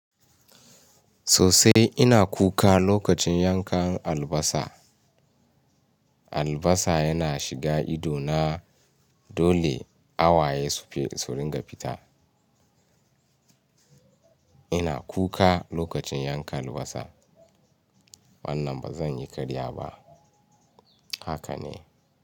Sosai ina kuka lokacin yankan albasa. Albasa yana shiga ido na dole a waye su ringa fita. Ina kuka lokacin yanka albasa. Wannan ba zan yi karya ba. Haka ne.